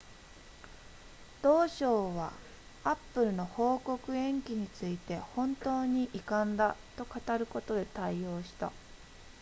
同省は apple の報告延期について本当に遺憾だと語ることで対応した